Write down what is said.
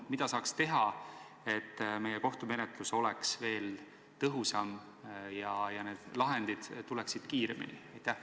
Mida saaks teha, et kohtumenetlus oleks tõhusam ja lahendid tuleksid kiiremini?